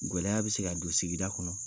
Gwɛlɛya be se ka don sigida kɔnɔ